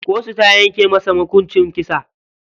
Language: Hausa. Kotu ta yanke masa hukunci kisa.